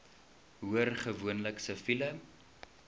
hoor gewoonlik siviele